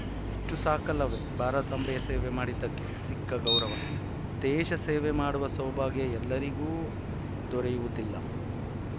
ಇಷ್ಟುಸಾಕಲ್ಲವೇ ಭಾರತಾಂಬೆಯ ಸೇವೆ ಮಾಡಿದ್ದಕ್ಕೆ ಸಿಕ್ಕ ಗೌರವ ದೇಶಸೇವೆ ಮಾಡುವ ಸೌಭಾಗ್ಯ ಎಲ್ಲರಿಗೂ ದೊರೆಯುವುದಿಲ್ಲ